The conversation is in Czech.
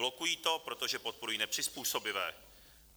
Blokují to, protože podporují nepřizpůsobivé.